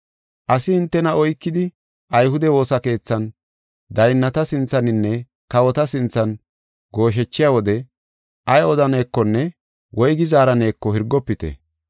“Asi hintena oykidi ayhude woosa keethan, daynnata sinthaninne kawota sinthan gooshechiya wode ay odanekonne woygi zaaraneko hirgofite.